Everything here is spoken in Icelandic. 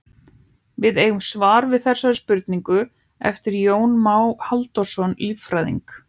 Við eigum svar við þessari spurningu eftir Jón Má Halldórsson líffræðing.